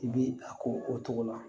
I bi a ko o cogo la